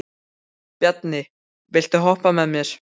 Bjarni, viltu hoppa með mér?